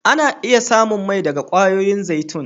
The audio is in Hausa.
Ana iya samu mai daga kwayoyin zaitun.